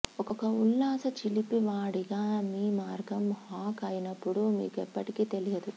ఒక ఉల్లాస చిలిపివాడిగా మీ మార్గం హాక్ అయినప్పుడు మీకు ఎప్పటికీ తెలియదు